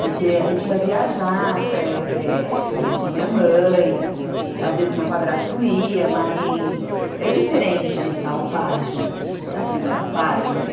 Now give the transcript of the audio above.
Porque a gente ia viajar com a minha mãe, às vezes meu padrasto ia, mas é diferente de estar o pai junto, porque é a figura pai, né?